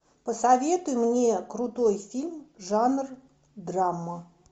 посоветуй мне крутой фильм жанр драма